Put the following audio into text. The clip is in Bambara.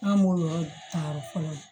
An m'o yɔrɔ ta yɔrɔ fɔlɔ